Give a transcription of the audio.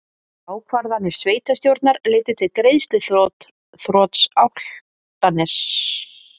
Ákvarðanir sveitarstjórnar leiddu til greiðsluþrots Álftaness